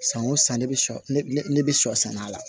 San o san ne bɛ ne bɛ sɔ sɛnɛ a la